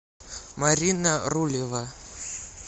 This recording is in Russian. марина рулева